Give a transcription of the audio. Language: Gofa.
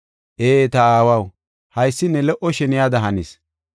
Ee, ta Aawaw, haysi ne lo77o sheniyada hanis.